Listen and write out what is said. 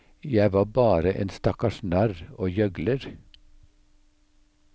Jeg var bare en stakkars narr og gjøgler.